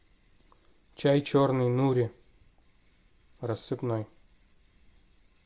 чай черный нури рассыпной